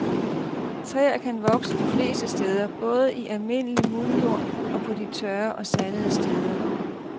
Træer kan vokse de fleste steder, både i almindelig muldjord og på de tørre og sandede steder.